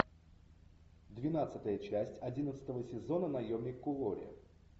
двенадцатая часть одиннадцатого сезона наемник куорри